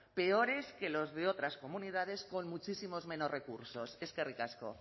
peores que los de otras comunidades con muchísimos menos recursos eskerrik asko